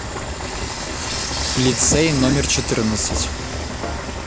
лицей номер четырнадцать